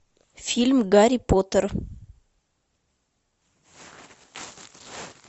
фильм гарри поттер